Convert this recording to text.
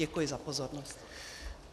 Děkuji za pozornost.